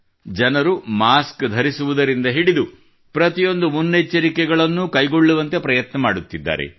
ಜನರು ಮಾಸ್ಕ್ ಧರಿಸುವುದರಿಂದ ಹಿಡಿದು ಪ್ರತಿಯೊಂದು ಮುನ್ನೆಚ್ಚರಿಕೆಗಳನ್ನೂ ಕೈಗೊಳ್ಳುವುದಕ್ಕೆ ಪ್ರಯತ್ನ ಮಾಡುತ್ತಿದ್ದಾರೆ